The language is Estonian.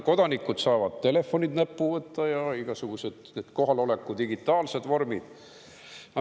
Kodanikud saavad telefonid näppu võtta ja on ka kõik need muud igasugused kohaloleku digitaalsed vormid.